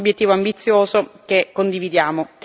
Un obiettivo ambizioso che condividiamo.